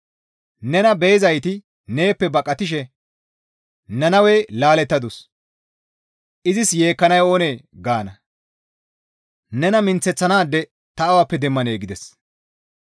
Nena be7izayti neeppe baqatishe, ‹Nannawey laalettadus; izis yeekkanay oonee?› gaana. Nena minththeththanaade ta awappe demmanee?» gides.